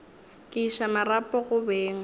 ke iša marapo go beng